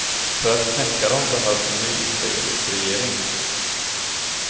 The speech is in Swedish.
För att knäcka dem behövs en ny israelisk regering.